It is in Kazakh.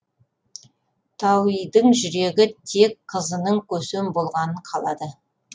тауидың жүрегі тек қызының көсем болғанын қалады